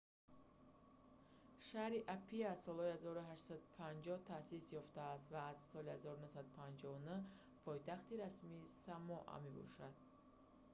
шаҳри апиа солҳои 1850 таъсис ёфтааст ва аз соли 1959 пойтахти расмии самоа мебошад